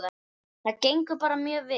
Það gengur bara mjög vel.